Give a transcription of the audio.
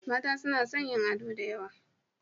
Mata suna son yin ado da yawa.